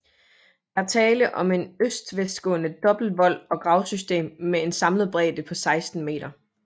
Der er tale om en øst vestgående dobbelt vold og gravsystem med en samlet bredde på 16 m